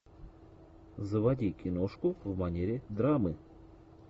заводи киношку в манере драмы